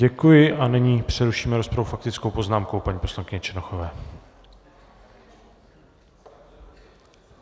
Děkuji a nyní přerušíme rozpravu faktickou poznámkou paní poslankyně Černochové.